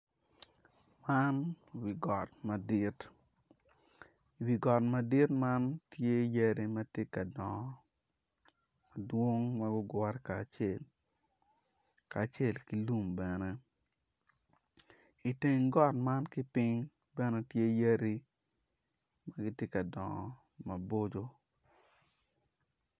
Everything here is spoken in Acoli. Man wigot madit wi got madit man tye yadi ma tye ka dongo dwong ma gugure kacel kacel ki lum bene iteng got man kipiny bene tye yadi ma gitye ka dongo maboco